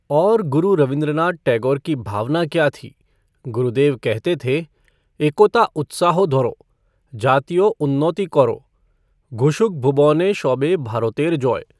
और गुरुदेव रवींद्रनाथ टैगोर की भावना क्या थी, गुरुदेव कहते थे एकोता उत्साहो धॉरो, जातियो उन्नॉति कॉरो, घुशुक भुबॉने शॉबे भारोतेर जॉय!